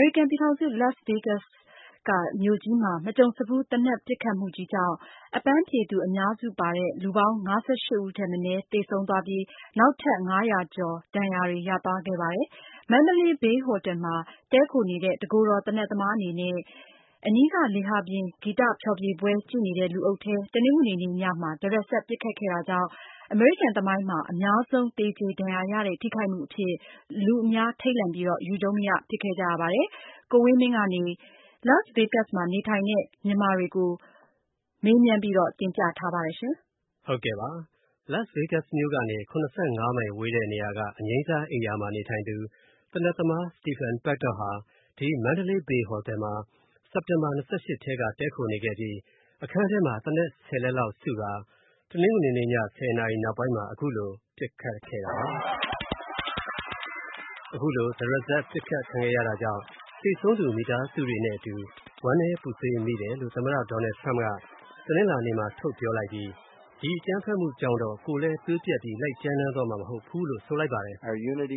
ရိကန်ပြည်ထောင်စု Las Vegas မြို့မှာ မကြုံစဖူး သေနတ်ပစ်ခတ်မှုကြောင့် အပန်းဖြေသူအများစုပါတဲ့ လူပေါင်း ၅၈ ဦးထက်မနည်း သေဆုံးပြီး နောက်ထပ် ၅၀၀ ကျော် ဒဏ်ရာတွေ ရခဲ့ပါတယ်။ Mandalay Bay ဟိုတယ်မှာ တည်းခိုနေတဲ့ တကိုယ်တော် သေနတ်သမားအနေနဲ့ အနီးက လေဟာပြင်ဂီတဖျော်ဖြေပွဲကြည့်နေတဲ့ လူအုပ်ထဲ တနင်္ဂနွေနေ့ ညမှာ တရစပ် ပစ်ခတ်ခဲ့တာကြောင့် အမေရိကန်သမိုင်းမှာ အများဆုံးသေကျေ ဒဏ်ရာရတဲ့ ထိခိုက်မှုအဖြစ် လူအများထိန့်လန့် ခဲ့ပါတယ်။ Las Vegas မှာနေထိုင်နေတဲ့ မြန်မာတချို့က ကံကောင်းပြီး ဘယ်လို ဒီအန္တရာယ်နဲ့ ကပ်ပြီးလွဲခဲ့တယ်ဆိုတဲ့ အကြောင်းတွေကို ကိုဝင်းမင်းက ဆက်သွယ်မေးမြန်းပြီး တင်ပြထားပါတယ်။ Las Vegas မြို့ကနေ ၇၅ မိုင်ဝေးတဲ့နေရာက အငြိမ်းစားအိမ်ရာမှာနေထိုင်သူ သေနတ်သမား Stephen Paddock ဟာ Mandalay Bay ဟိုတယ်မှာ စက်တင်ဘာ ၂၈ ကတည်းက တည်းခိုနေခဲ့ပြီး အခန်းထဲမှာ သေနတ် ၁၀ လက်လောက်စုကာ တနင်္ဂနွေနေ့ည ၁၀ နာရီလောက်မှာ အခုလို ပစ်ခတ်ခဲ့တာပါ။ အခုလို တရစပ် ပစ်ခတ်ခံရတာကြောင့် သေဆုံးသူ မိသားစုတွေနဲ့အတူ ဝမ်းနည်းပူဆွေးမိတယ်လို့ သမ္မတ Trump က တနင်္လာနေ့မှာ ထုတ်ပြောလိုက်ပြီး ဒီပစ်ခတ်မှုကြောင့်တော့ ကိုယ်လည်းသွေးပြတ်ပြီး လိုက်ကြမ်းတမ်းသွားမှာမဟုတ်ဘူးလို့ဆိုလိုက်ပါတယ်။ “ကျနော်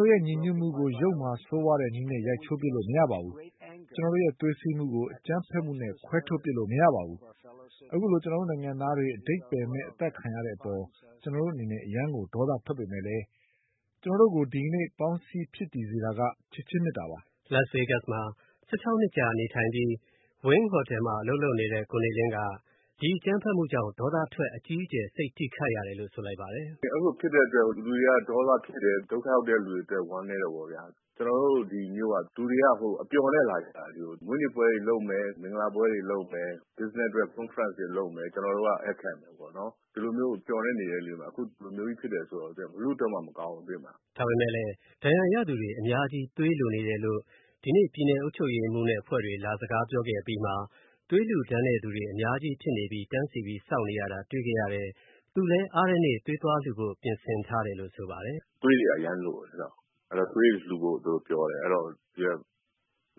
တို့ရဲ့ ညီညွတ်မှုကို ယုတ်မာဆိုးဝါးတဲ့နည်းနဲ့ ရိုက်ချိုးပစ်လို့မရပါဘူး။ ကျနော်တို့ရဲ့သွေးစည်းမှုကို သေနတ်ပစ်ခတ်မှုနဲ့ ခွဲထုတ်ပစ်လို့မရပါဘူး။ အခုလို ကျနော်တို့နိုင်ငံသားတွေ အဓိပ္ပါယ်မဲ့ အသတ်ခံရတဲ့အပေါ် ကျနော်တို့အနေနဲ့ အရမ်းကို ဒေါသထွက်ပေမယ့်လည်း ကျနော်တို့ကို ဒီကနေ့ ပေါင်းစည်းဖြစ်တည်စေတာက ချစ်ခြင်းမေတ္တာပါ။” Las vegas မြို့မှာ ၁၆ နှစ်ကြာနေထိုင်ပြီး Wynn ဟိုတယ်မှာ အလုပ်လုပ်နေတဲ့ ကိုနေလင်းက ဒီပစ်ခတ်မှုကြောင့် ဒေါသထွက် အကြီးအကျယ် စိတ်ထိခိုက်ရတယ်လို့ ဆိုလိုက်ပါတယ်။ “အဲလိုဖြစ်တဲ့အတွက် လူတွေက ဒေါသထွက်တယ် ဒုက္ခရောက်တယ်၊ ဝမ်းနည်းးတယ်ပေါ့ဗျာ။ ကျနော်တို့ ဒီမြို့က လူတွေက အပျော်နဲ့လာကြတာ ။ မွေးနေ့ပွဲတွေလုပ်မယ် ၊ မင်္ဂလာပွဲတွေလုပ်မယ်၊ Business အတွက် concert တွေလုပ်မယ် ကျနော်တို့က ဧည့်ခံမယ်ပေါ့နော် ဒီလိုမျိုးမျှော်လင့်နေတဲ့အချိန်မှာ ဒီလိုမျိုးကြီးဖြစ်တယ်ဆိုတော့ ဘယ်သူ့အတွက်မှမကောင်းဘူး။” ဒါပေမယ့်လည်း ဒဏ်ရာရသူတွေအများကြီးသွေးလိုနေတယ်လို့ ဒီနေ့ ပြည်နယ်အုပ်ချုပ်ရေးမှူးနဲ့အဖွဲ့တွေ လာစကားပြောခဲ့တဲ့အပြီးမှာ သွေးလှူဒါန်းတဲ့လူတွေအများကြီးဖြစ်နေပြီး တန်းစီစောင့်နေရတာတွေ့ခဲ့ရတဲ့ သူလည်းအားတဲ့နေ့ သွေးသွားလှူဖို့ ပြင်ဆင်ထားတယ်လို့ ဆိုပါတယ်။ “သွေးတွေက အရမ်းလိုတယ် သွေးတွေ လှူဖို့ပြောတယ်၊အဲဒီတော့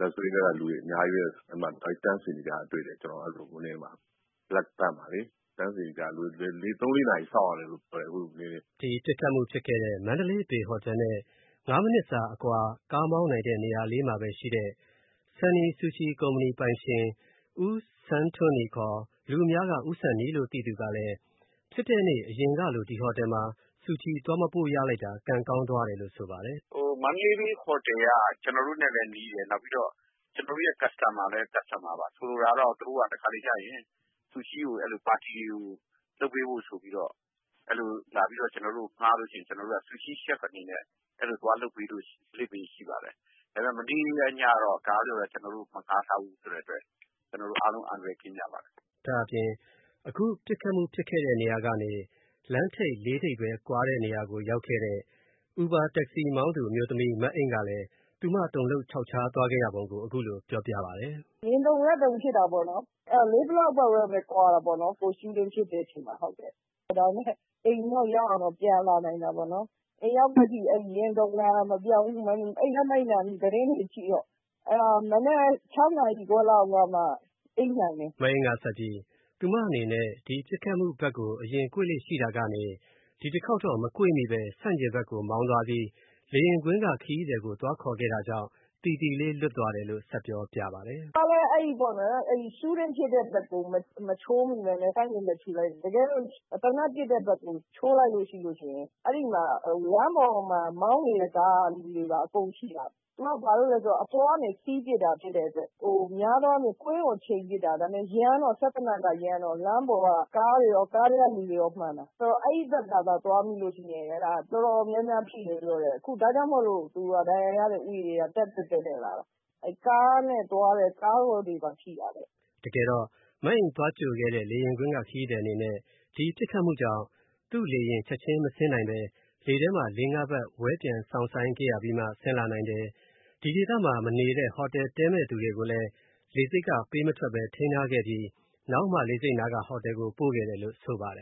Las vegas ကလူတွေအများကြီးပဲ တန်းစီနေတာတွေ့တယ်။လူတွေ ၃-၄ နာရီစောင့်ရတယ်လို့ပြောတယ်။” ပစ်ခတ်မှုဖြစ်ခဲ့တဲ့ Mandalay Bay ဟိုတယ်နဲ့ ၅ မိနစ်စာအကွာ ကားမောင်းတဲ့နေရာမှာရှိတဲ့ Sonny Sushi ကုမ္ပဏီပိုင်ရှင် ဦးဆန်းထွန်းနီ (ခေါ်) လူအများက ဦးဆန်နီ လို့သိသူက ဖြစ်တဲ့နေ့ အရင်ကလို အဲဒီဟိုတယ်မှာ Sushi သွားမပို့လိုက်ရတာ ကံကောင်းသွားတယ်လို့ ဆိုပါတယ်။ “Mandalay Bay ဟိုတယ်က ကျနော်တို့နဲ့လည်းနီးတယ် ကျနော်တို့ customer ပါ ။ဆိုလိုတာက တခါတလေကျရင် သူတို့က Sushi ကိုလုပ်ပေးဖို့ဆိုပြီးတော့ ကျနော်တို့ကို ငှားလို့ရှိရင် ကျနော်တို့က Sushi chef အနေနဲ့ သွားလုပ်ပေးလေ့ရှိပါတယ်။ ဒါပေမယ့် မနေ့ညကတော့ ကျနော်တို့ကို မငှားထားဘူးဆိုတော့ ကျနော်တို့ အားလုံး အန္တရာယ်ကင်းကြပါတယ်။” ဒါ့အပြင် အခုပစ်ခတ်မှု ဖြစ်တဲ့နေရာကနေ လမ်းထိပ် ၄ ထိပ်ပဲ ကွာတဲ့နေရာကိုရောက်ခဲ့တဲ့ Uber taxi မောင်းသူအမျိုးသမီး မအိမ့်ကလည်း သူမတုန်လှှုပ်ခြောက်ခြားခဲ့ရတဲ့အကြောင်း အခုလိုပြောပြပါတယ်။ “ရင်တုန်တာဖြစ်တာပေါ့နော် ဘာဖြစ်လို့လဲဆိုတော့ ၄ block လောက်ပဲကွာတာပေါ့နော်။ Shooting ဖြစ်တဲ့အချိန်မှာ အိမ်ကိုတော့ ရောက်အောင်တော့ ပြန်လာနိုင်တာပေါ့နော်။ အိမ်ရောက်တော့ ရင်တုန်တာမပျောက်ဘူး၊ အိပ်လည်းမအိပ်နိုင်ဘူး၊ သတင်းတွေကြည့်တော့။ မနက် ၆ နာရီ လောက်မှ အိပ်နိုင်တယ်။” မအိမ့်ကဆက်ပြီး ဒီပစ်ခတ်မှုဘက်ကို အရင်ကွေ့လေ့ရှိတာကနေ ဒီတခေါက်တော့ မကွေ့မိပဲ ဆန့်ကျင်ဘက်ကို မောင်းသွားပြီး လေယာဉ်ကွင်းက ခရီးသည်ကို သွားခေါ်ခဲ့တာကြောင့် သီသီလေး လွတ်သွားတယ်လို့ ဆက်ပြောပြပါတယ်။ “ကျမလည်း အဲဒီ Shooting ပစ်တဲ့ဘက်ကို မချိုးမိပဲနဲ့ ဆန့်ကျင်ဘက်ကို ချိုးလိုက်တယ်။ တကယ်တော့ သေနတ်ပစ်တဲ့ဘက်ကို ချိုးလိုက်ရင် အဲဒီလမ်းပေါ်က မောင်းနေတဲ့ ကားကလူတွေကိုပါ အကုန်ထိတာ သူက ဘာကြောင့်လဲဆိုတော့ အပေါ်ကနေ ပစ်တာဖြစ်တဲ့အတွက် များသောအားဖြင့် ကွင်းကိုချိန်ပစ်တာ၊ စက်သေနတ်က ရမ်းတော့ လမ်းပေါ်က ကားတွေရော ၊ ကားထဲကလူတွေရော မှန်တာ ။ ဆိုတော့ အဲဒီဘက်ကို သွားမိလို့ရှိရင် တော်တော်များများထိတယ်လို့ပြောတယ်။ ဒါကြောင့်မို့လို့ ဒဏ်ရာရတဲ့ဦးရေက တက်လာတာပေါ့။ ကားနဲ့သွားတဲ့လူတွေကိုပါထိတာတဲ့။” တကယ်တော့ မအိမ့်သွားကြိုခဲ့တဲ့ လေယာဉ်ကွင်းက ခရီးသည်အနေနဲ့ ဒီပစ်ခတ်မှုကြောင့် သူ့လေယာဉ်ချက်ချင်းမဆင်းနိုင်ပဲ လေထဲမှာ ၄၊၅ ပတ် ဝဲပျံစောင့်ဆိုင်းခဲ့ရပြီးမှ ဆင်းလာနိုင်တယ်။ ဒီဒေသမှာ မနေပဲ ဟိုတယ်တည်းမယ့်လူတွေကိုလည်း လေဆိပ်က ပေးမထွက် ထိန်းထားခဲ့ပြီး နောက်မှ လေဆိပ်နားက ဟိုတယ်ကို ပို့ခဲ့တယ်လို့ ဆိုပါတယ်